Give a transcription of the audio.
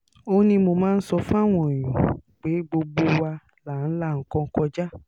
ó ní mo máa ń sọ fáwọn èèyàn pé gbogbo wa là ń la nǹkan kọjá